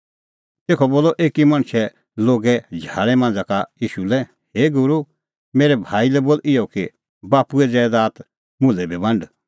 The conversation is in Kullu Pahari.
तेखअ बोलअ एकी मणछै लोगे झाल़ै मांझ़ा का ईशू लै हे गूरू मेरै भाई लै बोल इहअ कि बाप्पूए ज़ैदात दै मुल्है बी बांड